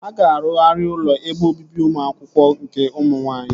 A ga-arụgharị ụlọ ebe obibi ụmụ akwụkwọ nke ụmụ nwaanyị